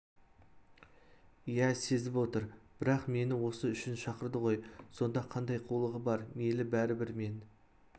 иә сезіп отыр бірақ мені осы үшін шақырды ғой сонда қандай қулығы бар мейлі бәрібір мен